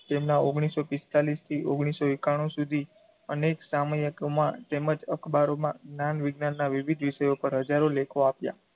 તેમનાં ઓગણીસો પિસ્તાળીશથી ઓગણીસો એકાણું સુધી અનેક સામયિકોમાં તેમજ અખબારોમાં જ્ઞાન -વિજ્ઞાનનાં વિવિધ વિષયો પર હજારો લેખો આપ્યાં.